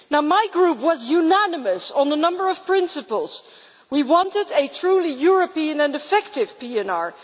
My group was unanimous on a number of principles. We wanted a truly European and effective PNR.